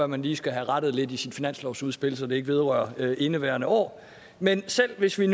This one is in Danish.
man lige skal have rettet lidt i sit finanslovsudspil så det ikke vedrører indeværende år men selv hvis vi